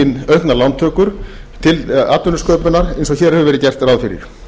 auknar lántökur til atvinnusköpunar eins og hér hefur verið gert ráð fyrir